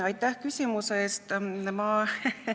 Aitäh küsimuse eest!